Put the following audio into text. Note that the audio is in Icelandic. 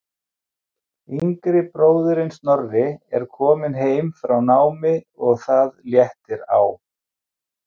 Yngri bróðirinn Snorri er kominn heim frá námi og það léttir á.